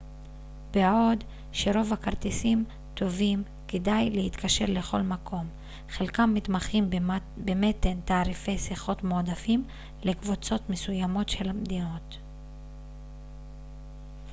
בעוד שרוב הכרטיסים טובים כדי להתקשר לכל מקום חלקם מתמחים במתן תעריפי שיחות מועדפים לקבוצות מסוימות של מדינות